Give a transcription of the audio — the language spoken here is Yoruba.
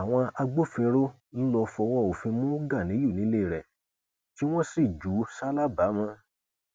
àwọn agbófinró ló lọọ fọwọ òfin mú ganiyun nílé rẹ tí wọn sì jù ú ṣalábàámọ